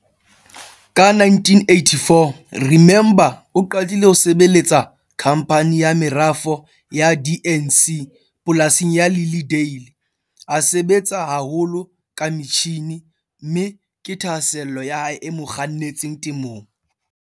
Ka 1984 Remember o qadile ho sebeletsa khamphani ya merafo ya DNC polasing ya Lilly Dale. A sebetsa haholo ka metjhine, mme ke thahasello ya hae e mo kgannetseng temong.